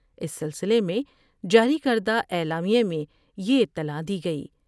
اس سلسلے میں جاری کردہ اعلامیے میں یہ اطلاع دی گئی۔